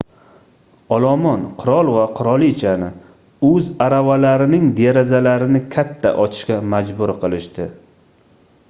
olomon qirol va qirolichani oʻz aravalarining derazalarini katta ochishga majbur qilishdi